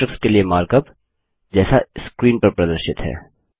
matrix के लिए markup जैसा स्क्रीन पर प्रदर्शित है